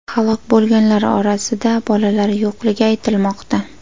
Halok bo‘lganlar orasida bolalar yo‘qligi aytilmoqda.